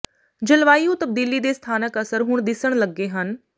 ਜਲਵਾਯੂ ਤਬਦੀਲੀ ਦੇ ਸਥਾਨਕ ਅਸਰ ਹੁਣ ਦਿਸਣ ਲੱਗੇ ਹਨ